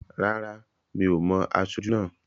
Rárá, mi ò mo aṣojú náà